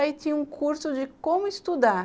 Aí tinha um curso de como estudar.